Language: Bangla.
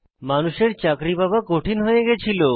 মানুষের চাকরী পাওয়া কঠিন হয়ে গিয়েছিল